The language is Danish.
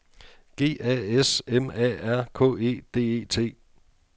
G A S M A R K E D E T